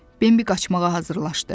Bembi qaçmağa hazırlaşdı.